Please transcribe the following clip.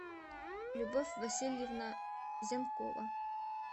любовь васильевна зенкова